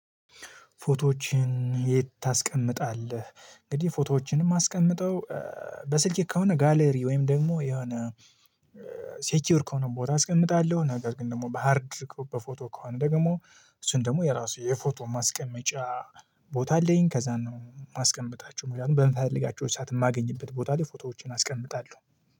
ፎቶዎችን የት ታስቀምታለህ? እንግዲህ ፎቶዎችን ማስቀምጠው በስልኬ ከሆነ ጋለር ወይም ደግሞ የሆነ ሰክዩር ከሆነ ቦታ አስቀምጣለሁ። ነገር ግን ደግሞ በሃርድ በፎቶ ከሆነ ደግሞ እሱን ደግሞ የራሱ የፎቶ ማስቀመጫ ቦታ አለኝ። ከዚያ ነው የማስቀምታቸው ምክንያቱም በምፈለጋቸው ሰዓት የማገኝበት ቦታ ላይ ፎቶዎችን አስቀምጣለሁ